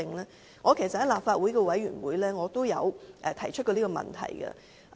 其實，我在立法會的委員會也曾提出這個問題。